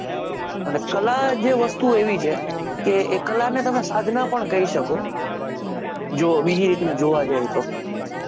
અને કલા જે વસ્તુ એવી છે કે એ કલાને તમે સાધના પણ કંઈ સકો જો બીજી રીતે જોવા જાયેં તો ન